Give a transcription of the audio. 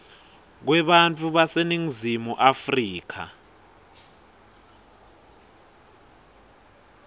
kwebantfu baseningizimu afrika